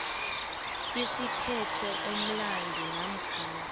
esiphethe umlandu namkha